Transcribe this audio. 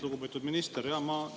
Lugupeetud minister!